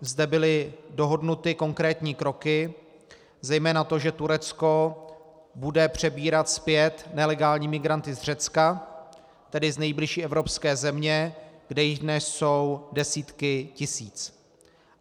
Zde byly dohodnuty konkrétní kroky, zejména to, že Turecko bude přebírat zpět nelegální migranty z Řecka, tedy z nejbližší evropské země, kde jich dnes jsou desítky tisíc.